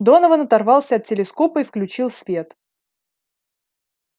донован оторвался от телескопа и включил свет